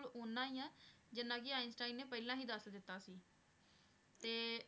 ਓਨਾ ਹੀ ਹੈ, ਜਿੰਨਾ ਕਿ ਆਈਨਸਟੀਨ ਨੇ ਪਹਿਲਾਂ ਹੀ ਦੱਸ ਦਿੱਤਾ ਸੀ ਤੇ